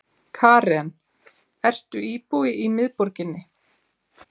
Karen: Ertu íbúi í miðborginni?